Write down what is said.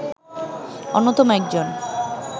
অন্যতম একজন